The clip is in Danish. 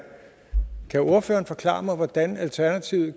kan ordføreren forklare mig hvordan alternativet